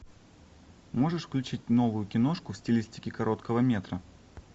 можешь включить новую киношку в стилистике короткого метра